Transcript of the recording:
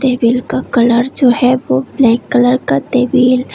table का colour जो है वो ब्लैक कलर का टेबल --